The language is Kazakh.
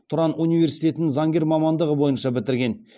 тұран университетін заңгер мамандығы бойынша бітірген